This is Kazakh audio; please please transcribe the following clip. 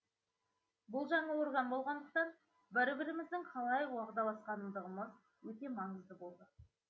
бұл жаңа орган болғандықтан бір біріміздің қалай уағдаласатындығымыз өте маңызды болды